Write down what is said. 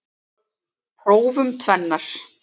Prófum tvennar.